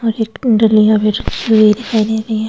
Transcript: और एक डली यहां भी रखी हुई दिखाई नहीं।